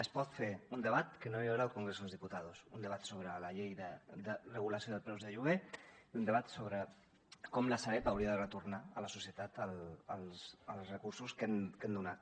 es pot fer un debat que no hi haurà al congreso de los diputados un debat sobre la llei de regulació dels preus del lloguer i un debat sobre com la sareb hauria de retornar a la societat els recursos que hem donat